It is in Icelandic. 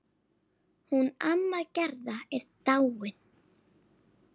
Hún amma Gerða er dáin.